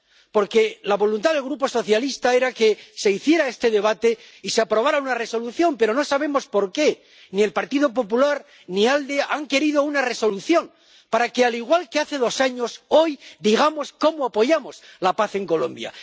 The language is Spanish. Porque la voluntad del Grupo socialista era que se hiciera este debate y se aprobara una Resolución, pero no sabemos por qué ni el Partido Popular Europeo ni ALDE han querido una Resolución para que, al igual que hace dos años, hoy digamos cómo apoyamos la paz en Colombia.